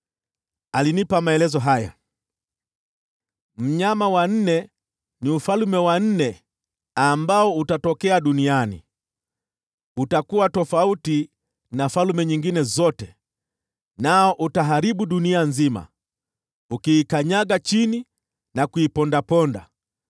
“Alinipa maelezo haya: ‘Mnyama wa nne ni ufalme wa nne ambao utatokea duniani. Utakuwa tofauti na falme nyingine zote, nao utaharibu dunia nzima, ukiikanyaga chini na kuipondaponda.